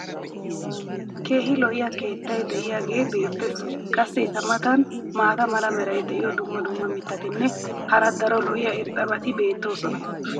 keehi lo'iya keettay diyaagee beetees. qassi eta matan maata mala meray diyo dumma dumma mitatinne hara daro lo'iya irxxabati beetoosona.